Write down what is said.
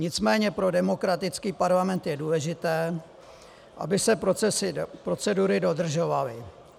Nicméně pro demokratický parlament je důležité, aby se procedury dodržovaly.